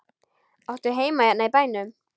Áttu heima hérna í bænum?